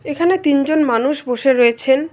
এখানে তিনজন মানুষ বসে রয়েছেন।